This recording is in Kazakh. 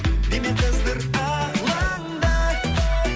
дене қыздыр алаңды